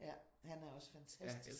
Ja. Han er også fantastisk